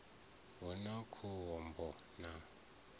hu na khom bo na